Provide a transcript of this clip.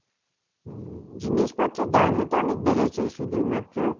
হম, জিনিসপত্রের দামও তো অনেক বেড়েছে. শুধুমাত্র,